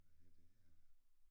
Hvad hedder det øh